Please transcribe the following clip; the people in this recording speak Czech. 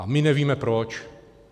A my nevíme proč.